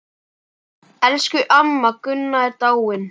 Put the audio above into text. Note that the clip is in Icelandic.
Elsku amma Gunna er dáin.